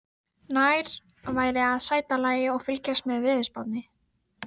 Nær væri að sæta lagi og fylgjast með veðurspánni.